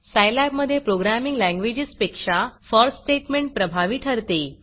Scilab मधे programming लँग्वेजेसपेक्षा for statement प्रभावी ठरते